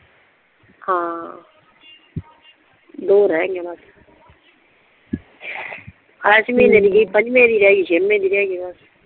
ਹਾਂ ਦੋ ਰਿਹ ਗਈਆ ਬਸ ਇਸ ਮਹੀਨੇ ਦੀ ਗਈ ਪੰਜੇ ਦੀ ਰਿਹ ਗਈ ਛੇ ਵੀ ਦੀ ਰਿਹ ਗਈ ਬਸ